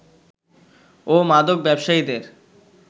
ও মাদক ব্যবসায়ীদের